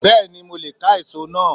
Beni mo le ka èso náà